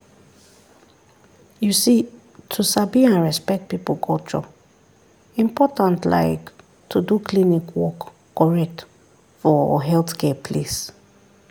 you see to sabi and respect people culture important like to do klinik work correct for healthcare place.